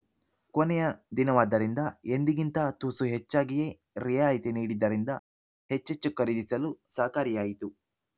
ಕೊನೆಯ ದಿನವಾದ್ದರಿಂದ ಎಂದಿಗಿಂತ ತುಸು ಹೆಚ್ಚಾಗಿಯೇ ರಿಯಾಯಿತಿ ನೀಡಿದ್ದರಿಂದ ಹೆಚ್ಚೆಚ್ಚು ಖರೀದಿಸಲು ಸಹಕಾರಿಯಾಯಿತು